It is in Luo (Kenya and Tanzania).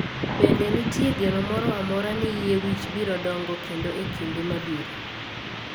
Be nitie geno moro amora ni yie wich biro dongo kendo e kinde mabiro?